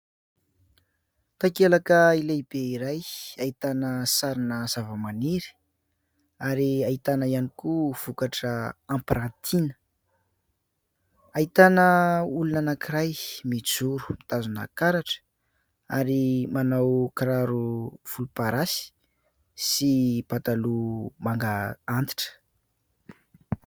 Takelaka lehibe iray ahitana sarina zavamaniry ary ahitana ihany koa vokatra ampirantiana. Ahitana olona anankiray mijoro, mitazona karatra ary manao kiraro volomparasy sy pataloha manga antitra.